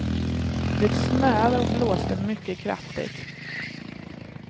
Det snöade och blåste mycket kraftigt.